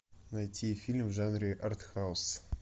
найти фильм в жанре арт хаус